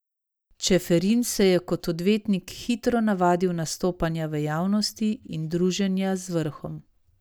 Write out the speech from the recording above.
Čeferin se je kot odvetnik hitro navadil nastopanja v javnosti in druženja z vrhom.